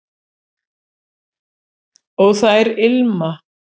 og þær ilma